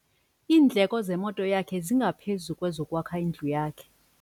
Iindleko zemoto yakhe zingaphezu kwezokwakha indlu yakhe.